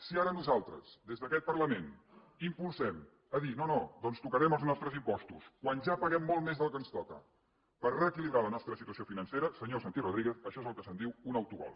si ara nosaltres des d’aquest parlament impulsem a dir no no doncs tocarem els nostres impostos quan ja paguem molt més del que ens toca per reequilibrar la nostra situació financera senyor santi rodríguez això és el que se’n diu un autogol